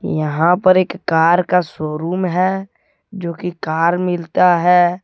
यहां पर एक कार का शोरूम है जो की कार मिलता है।